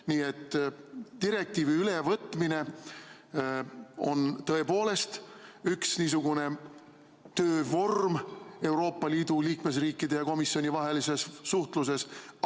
Nii et direktiivi ülevõtmine on tõepoolest üks niisugune töövorm Euroopa Liidu liikmesriikide ja komisjoni vahelises suhtluses.